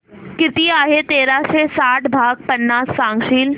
किती आहे तेराशे साठ भाग पन्नास सांगशील